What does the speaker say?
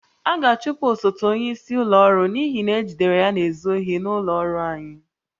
A ga-achụpụ osote onyeisi ụlọ ọrụ n'ihi na ejidere ya na-ezu ohi n'ụlọ ọrụ anyị